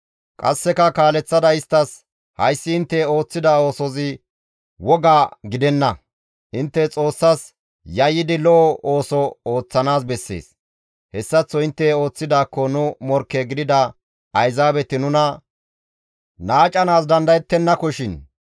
Qasseka kaaleththada isttas, «Hayssi intte ooththida oosozi woga gidenna! Intte Xoossas yayyidi lo7o ooso ooththanaas bessees; hessaththo intte ooththidaakko nu morkke gidida Ayzaabeti nuna naacanaas dandayetennakoshin.